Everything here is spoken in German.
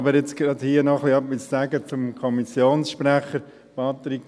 Aber jetzt möchte ich hier gerade noch etwas zum Kommissionssprecher sagen.